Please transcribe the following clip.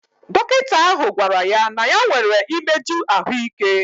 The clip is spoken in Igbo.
Dọkịta ahụ gwara ya na ya nwere imeju ahụike.